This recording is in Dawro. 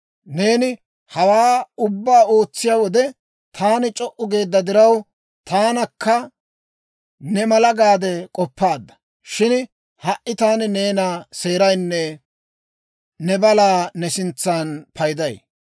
Neeni hawaa ubbaa ootsiyaa wode, taani c'o"u geedda diraw, Taanakka ne mala gaade k'oppaadda. Shin ha"i taani neena seeraynne ne balaa ne sintsan payday.